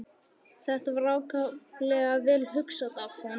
Þetta var ákaflega vel hugsað af honum.